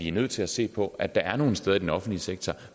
er nødt til at se på at der er nogle steder i den offentlige sektor